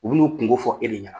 U bin'u kun ko fɔ e de ɲɛna